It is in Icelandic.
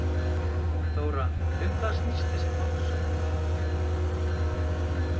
Þóra, um hvað snýst þessi málsókn?